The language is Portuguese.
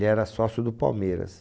era sócio do Palmeiras.